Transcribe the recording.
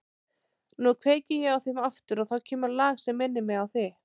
Nú kveiki ég á þeim aftur og þá kemur lag sem minnir mig á þig.